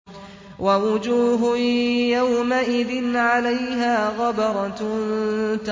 وَوُجُوهٌ يَوْمَئِذٍ عَلَيْهَا غَبَرَةٌ